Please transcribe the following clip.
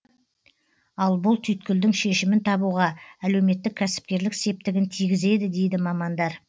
ал бұл түйткілдің шешімін табуға әлеуметтік кәсіпкерлік септігін тигізеді дейді мамандар